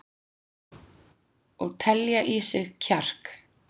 Og telja í sig kjark.